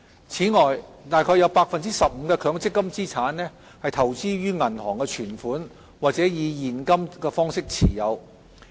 此外，約有 15% 的強積金資產投資於銀行存款，或以現金方式持有。